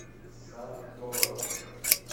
сатторов